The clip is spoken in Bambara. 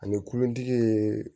Ani kulontigi ye